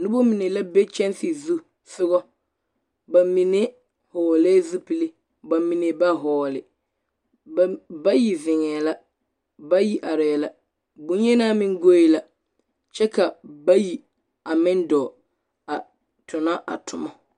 Noba mine la be kyanse zu sogɔ. Ba mine hɔɔlɛɛ zupili, ba mine ba hɔɔle. Ba bayi zeŋɛɛ la, bayi arɛɛ la, bŋyenaa meŋ goe la, kyɛ ka bayi a meŋ dɔɔ a tona a toma.